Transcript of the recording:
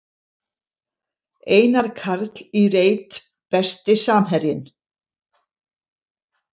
Einar Karl í reit Besti samherjinn?